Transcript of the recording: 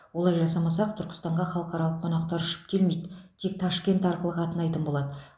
олай жасамасақ түркістанға халықаралық қонақтар ұшып келмейді тек ташкент арқылы қатынайтын болады